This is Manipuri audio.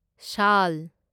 ꯁꯥꯜ